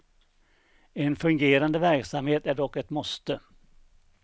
En fungerande verksamhet är dock ett måste.